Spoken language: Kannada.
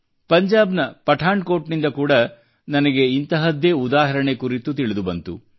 ಪಂಜಾಬ್ ನ ಪಠಾನ್ ಕೋಟ್ ನಿಂದ ಕೂಡಾ ನನಗೆ ಇಂತಹದ್ದೇ ಉದಾಹರಣೆ ಕುರಿತು ನನಗೆ ತಿಳಿದುಬಂತು